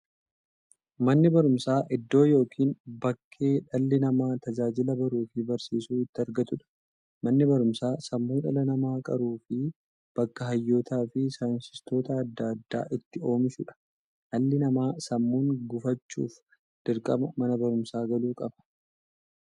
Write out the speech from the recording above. Manni baruumsaa iddoo yookiin bakkee dhalli namaa tajaajila baruufi barsiisuu itti argatuudha. Manni baruumsaa sammuu dhala namaa qaruufi bakka hayyootafi saayintistoota adda addaa itti oomishuudha. Dhalli namaa sammuun gufachuuf, dirqama Mana baruumsaa galuu qaba.